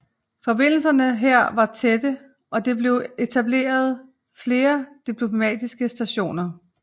Forbindelserne her var tætte og det blev etableret flere diplomatiske stationer